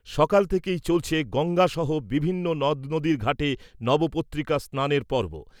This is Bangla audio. সকাল থেকেই চলছে গঙ্গাসহ বিভিন্ন নদনদীর ঘাটে নবপত্রিকা স্নানের পর্ব।